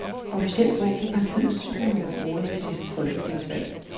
Officielt brugte partiet syv millioner kroner ved det sidste folketingsvalg.